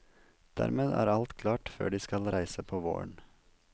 Dermed er alt klart før de skal reise på våren.